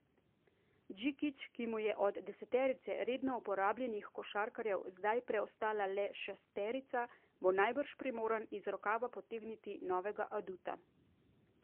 Džikić, ki mu je od deseterice redno uporabljenih košarkarjev zdaj preostala le šesterica, bo najbrž primoran iz rokava potegniti novega aduta.